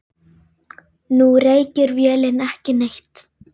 Nú reykir vélin ekki neitt.